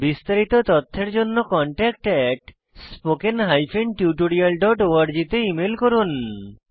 বিস্তারিত তথ্যের জন্য contactspoken tutorialorg তে ইমেল করুন